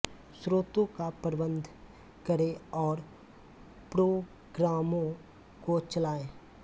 स्रोतों का प्रबन्ध करे और प्रोग्रामों को चलाए